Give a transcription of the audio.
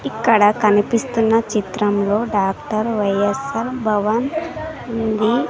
అక్కడ కనిపిస్తున్న చిత్రంలో డాక్టర్ వైయస్సార్ భవన్ ఉంది.